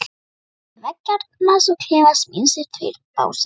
Á milli veggjarins og klefans míns eru tveir básar.